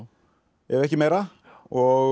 ef ekki meira og